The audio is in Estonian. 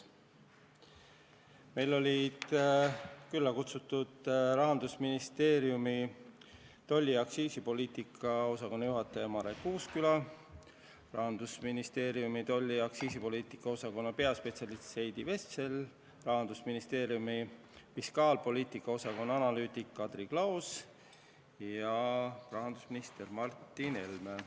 Kohale olid kutsutud Rahandusministeeriumi tolli- ja aktsiisipoliitika osakonna juhataja Marek Uusküla, sama osakonna peaspetsialist Heidi Vessel, fiskaalpoliitika osakonna analüütik Kadri Klaos ja rahandusminister Martin Helme.